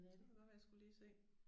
Det kunne da godt være jeg skulle lige se